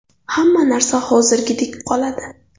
Hamma narsa hozirgidek qoladi.